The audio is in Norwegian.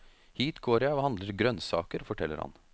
Hit går jeg og handler grønnsaker, forteller han.